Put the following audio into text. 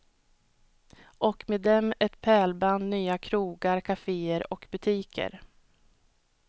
Och med dem ett pärlband nya krogar, caféer och butiker.